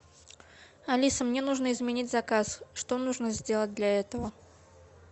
алиса мне нужно изменить заказ что нужно сделать для этого